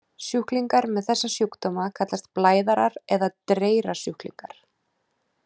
Sjúklingar með þessa sjúkdóma kallast blæðarar eða dreyrasjúklingar.